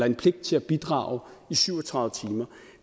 en pligt til at bidrage i syv og tredive timer